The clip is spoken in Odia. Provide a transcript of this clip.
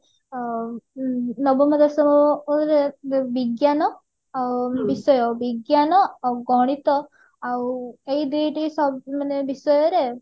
ଅ ଉଁ ବିଜ୍ଞାନ ବିଷୟ ବିଜ୍ଞାନ ଗଣିତ ଏଇ ଦୁଇ ଟି ସ ମାନେ ବିଷୟରେ